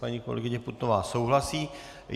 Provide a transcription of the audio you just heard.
Paní kolegyně Putnová souhlasí.